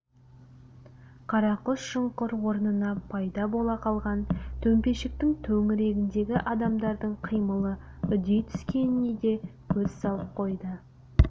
қарақұс шұңқыр орнына пайда бола қалған төмпешіктің төңірегіндегі адамдардың қимылы үдей түскеніне де көз салып қойды